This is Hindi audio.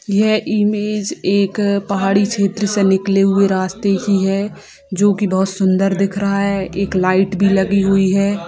यह इमेज एक पहाड़ी छेत्र से निकले हुए रास्ते की है जो की बहुत सुन्दर दिख रहा है एक लाइट भी लगी हुई है।